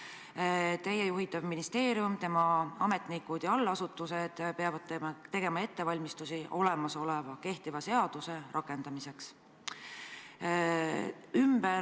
Seega, teie juhitav ministeerium, selle ametnikud ja allasutused peavad tegema ettevalmistusi olemasoleva, kehtiva seaduse rakendamiseks.